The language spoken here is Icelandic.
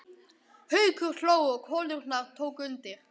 Haukur hló og konurnar tóku undir.